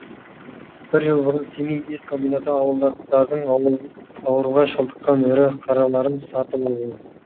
бір жыл бұрын семей ет комбинаты ауылдықтардың ауруға шалдыққан ірі қараларын сатып алған